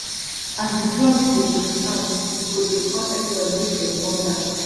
as di drums dey um sound we go dey call everybody make dem come dance